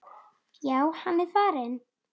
Já, hann er farinn